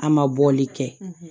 A ma bɔli kɛ